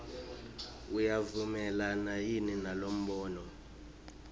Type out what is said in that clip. uyavumelana yini nalombono